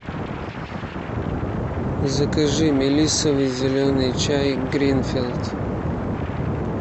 закажи мелиссовый зеленый чай гринфилд